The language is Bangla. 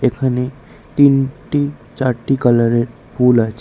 এখানে তিনটি চারটি কালারের ফুল আছে।